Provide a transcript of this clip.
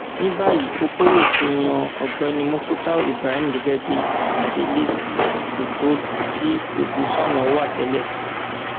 ní báyìí fúpòye ti yan ọgbẹni mufútàù ibrahim gẹgẹ bíi adelé sí ipò tí ọdùṣáná wà tẹlẹ